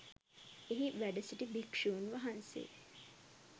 එහි වැඩසිටි භික්‍ෂූන් වහන්සේ